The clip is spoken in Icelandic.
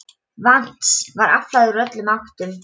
Vatns var aflað úr öllum áttum.